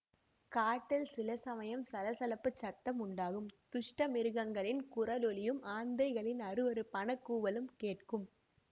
காட்டில் சில சமயம் சலசலப்புச் சத்தம் உண்டாகும் துஷ்ட மிருகங்களின் குரல் ஒலியும் ஆந்தைகளின் அருவருப்பான கூவலும் கேட்கும்